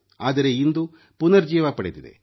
ಆದರೆ ಇಂದು ಪುನರುಜ್ಜೀವನ ಪಡೆದಿದೆ